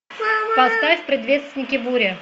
поставь предвестники бури